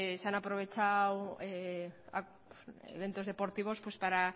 se ha aprovechado eventos deportivos para